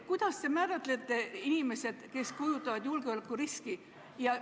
Kuidas te määrate kindlaks need inimesed, kes kujutavad endast julgeolekuriski?